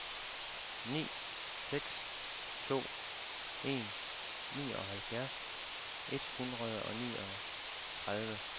ni seks to en nioghalvfjerds et hundrede og niogtredive